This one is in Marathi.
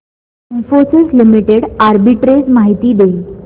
इन्फोसिस लिमिटेड आर्बिट्रेज माहिती दे